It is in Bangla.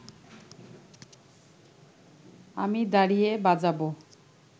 আমি দাঁড়িয়ে বাজাব